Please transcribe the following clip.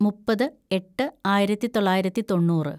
മുപ്പത് എട്ട് ആയിരത്തിതൊള്ളായിരത്തി തൊണ്ണൂറ്‌